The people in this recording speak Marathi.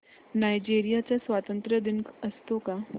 नायजेरिया चा स्वातंत्र्य दिन असतो का